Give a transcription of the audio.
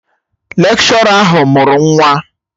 Lekshọra ahụ mụrụ nwa